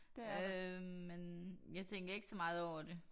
Øh men jeg tænker ikke så meget over det